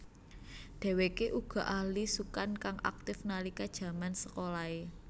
Dheweke uga ahli sukan kang aktif nalika jaman sekolahe